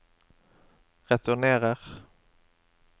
returnerer